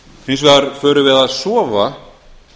hins vegar förum við að sofa